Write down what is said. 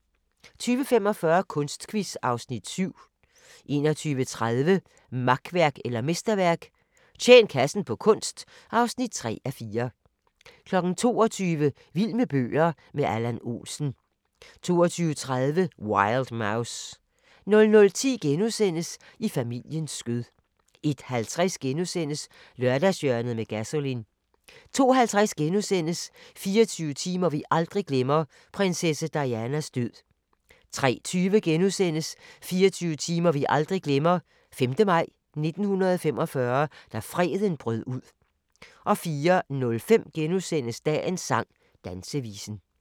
20:45: Kunstquiz (Afs. 7) 21:30: Makværk eller mesterværk - tjen kassen på kunst (3:4) 22:00: Vild med bøger – med Allan Olsen 22:30: Wild Mouse 00:10: I familiens skød * 01:50: Lørdagshjørnet med Gasolin * 02:50: 24 timer vi aldrig glemmer – prinsesse Dianas død * 03:20: 24 timer vi aldrig glemmer: 5. maj 1945 – da freden brød ud * 04:05: Dagens sang: Dansevisen *